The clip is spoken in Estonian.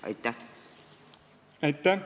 Aitäh!